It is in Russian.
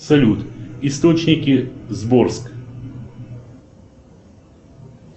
салют источники сборск